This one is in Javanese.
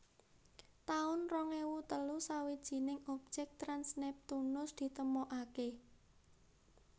taun rong ewu telu Sawijining objek trans Neptunus ditemokaké